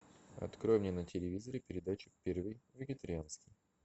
открой мне на телевизоре передачу первый вегетарианский